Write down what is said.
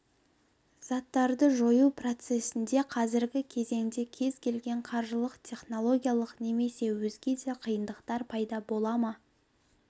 заттарды жою процесінде қазіргі кезеңде кез-келген қаржылық технологиялық немесе өзге де қиындықтар пайда бола ма